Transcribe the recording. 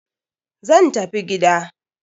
Zan tafi gida.